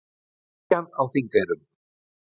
Kirkjan á Þingeyrum.